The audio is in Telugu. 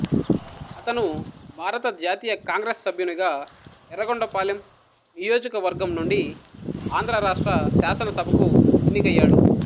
అతను భారత జాతీయ కాంగ్రెస్ సభ్యునిగా ఎఱ్ఱగొండపాలెం నియోజకవర్గం నుండి ఆంధ్రరాష్ట్ర శాసనసభకు ఎన్నికయ్యాడు